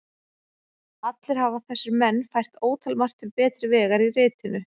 Allir hafa þessir menn fært ótalmargt til betri vegar í ritinu.